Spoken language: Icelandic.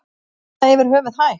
Er það yfir höfuð hægt?